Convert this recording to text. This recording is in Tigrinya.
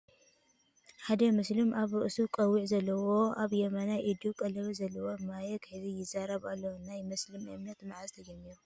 ሓደ ሙስሊም ኣብ ርእሱ ቀዊዕ ዘለዎ ኣብ የማናይ ኢዱ ቀለበት ዘለዎ ማይክ ሒዙ ይዛረብ ኣሎ ። ናይ ሙስሊም እምነት መዓዘ ተጀሚሩ ?